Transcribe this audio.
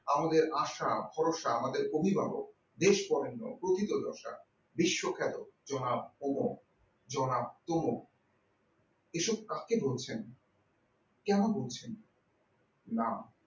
আমাদের আশা ভরসা আমাদের অভিভাবক দেশ অরণ্য প্রকৃত দশা বিশ্বখ্যাত জনাব ভৌম জনাব তম এসব কাকে ধরছেন কেন ধরছেন না